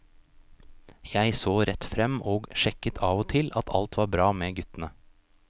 Jeg så rett frem og sjekket av og til at alt var bra med guttene.